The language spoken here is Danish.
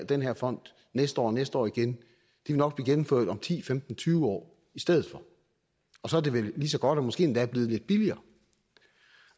den her fond næste år og næste år igen vil nok blive gennemført om ti femten tyve år i stedet for og så er det vel lige så godt og måske endda blevet lidt billigere